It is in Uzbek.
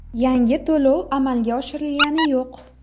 Yangi to‘lov amalga oshirilgani yo‘q.